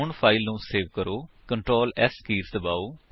ਹੁਣ ਫਾਇਲ ਨੂੰ ਸੇਵ ਕਰੋ Ctrl S ਕੀਜ ਦਬਾਓ